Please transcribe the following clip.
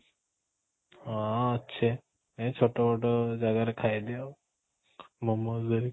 ହଁ, ଅଛି ଏଇ ଛୋଟ ମୋଟ ଜାଗାରେ ଖାଇଦିଏ ଆଉ momo